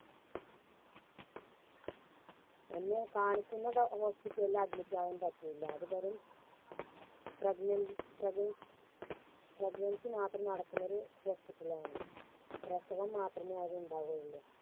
എന്നെ കാണിക്കുന്ന Hospital ല് Admit ആവാൻ പറ്റൂല അത് വെറും Pregnant പ്രഗ് Pregnancy മാത്രം നടക്കുന്നൊരു Hospital ആണ് പ്രസവം മാത്രമേ അവിടെ ഇണ്ടാവുള്ളു